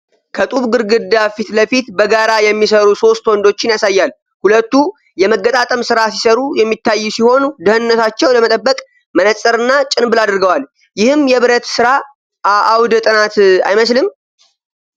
ከጡብ ግድግዳ ፊት ለፊት በጋራ የሚሰሩ ሶስት ወንዶችን ያሳያል። ሁለቱ የመገጣጠም ስራ ሲሰሩ የሚታዩ ሲሆን፣ ደህንነታቸውን ለመጠበቅ መነጽርና ጭንብል አድርገዋል፤ ይህም የብረት ሥራ አውደ ጥናት አይመስልም?